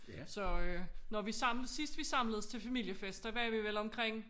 Så øh når vi sidst vi samledes til familiefest der var vi vel omkring